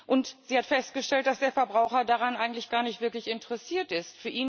Und sie hat festgestellt, dass der Verbraucher daran eigentlich gar nicht wirklich interessiert ist.